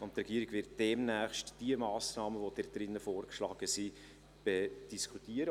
Die Regierung wird demnächst diejenigen Massnahmen, die darin vorgeschlagen werden, diskutieren.